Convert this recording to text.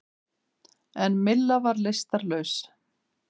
En Milla var lystarlaus.